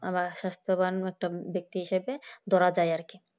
আবার স্বাস্থ্যবাণ একটা ব্যক্তি হিসেবে ধরা যায় আরকি